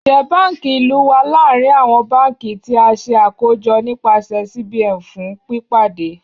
Njẹ banki ilu wa larin awọn banki ti a ṣe akojọ nipasẹ CBN fun pipade?